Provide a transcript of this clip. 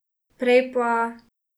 Prej pa ...